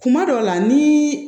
Kuma dɔw la ni